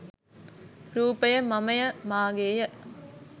රූපය මමය, මගේය,